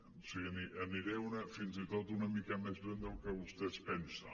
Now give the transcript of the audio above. o sigui aniré fins i tot una mica més lluny del que vostè es pensa